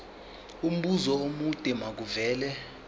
umbuzo omude makuvele